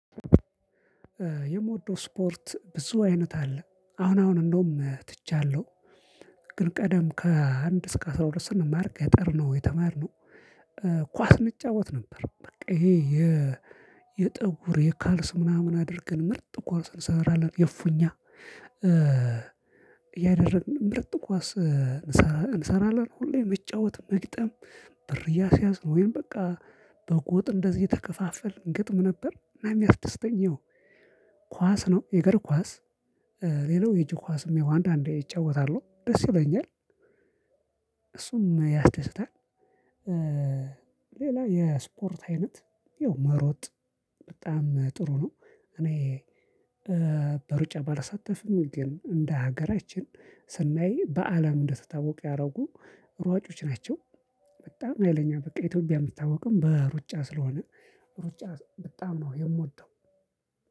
የምወደው ስፖርት ብዙ አይነት አለ አሁን አሁን እንደውም ትቻለሁ። ግን ቀደም ከአንድ እስከ አስራ ሁለት ስንማር ገጠርነው የተማርነው ኳስ እንጫወት ነበር። በቃ ይሄ የ የጠጉር የካልስ ምናምን አድርገን ምርጥ ኳስን እንሰራለን የፍኛ ያደርግልን ምርጥ ኳስ እንሰራለን ሁሌም መጫወት መግጠም ብር እያስያዝን ወይም በቃ በጎጥ እንደዚህ እየተከፋፈልን እንገጥም ነበር። የሚያስደስተኝ ያው ኳስ ነው የእግር ኳስ። ሌላው የእጅ ኳስም ያው አንዳንዴ እጫወታለሁ ደስ ይለኛል። እሱም ያስደስታል። ሌላው የስፖርት አይነት ያው መሮጥ በጣም ጥሩ ነው። እኔ በሩጫ ባልሳተፍን ግን እንደ ሀገራችን ስናይ በአለም እንድትታወቀ ያደረጉ ሯጮች ናቸው። በጣም ያው ለኛ በኢትዮጵያ የምታወቀው በሩጫ ስለሆነ ሩጫ በጣም ነው የምወደው።